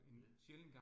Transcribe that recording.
Ja